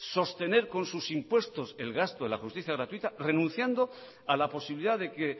sostener con sus impuestos el gasto de la justicia gratuita renunciando a la posibilidad de que